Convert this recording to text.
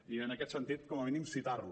i en aquest sentit com a mínim citar les